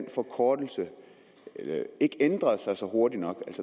forkortelse ikke ændrede sig hurtigt nok